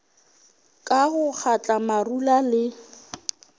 ka go kgatla marula le